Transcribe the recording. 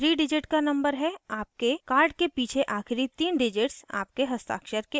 जो 3 digit का number है आपके card के पीछे आखिरी तीन digits आपके हस्ताक्षर के आगे